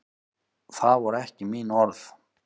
Það voru ekki mín orð.